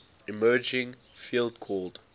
emerging field called